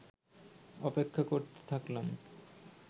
অপেক্ষা করতে থাকলাম